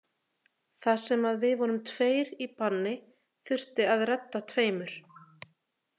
Þar sem að við vorum tveir í banni þurfti að redda tveimur.